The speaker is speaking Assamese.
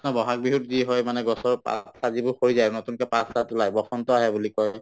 বহাগ বিহুত যি হয় মানে গছৰ পাত-চাত যিবোৰ সৰি যায় নতুনকে পাত-চাত ওলাই বসন্ত আহে বুলি কয়